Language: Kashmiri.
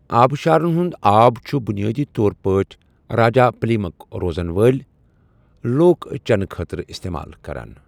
آبشارَن ہُنٛد آب چھِ بنیٲدی طور پٲٹھۍ راجاپلیامٕک روزَن وٲلۍ لوک چیٚنہٕ خٲطرٕ استعمال کران۔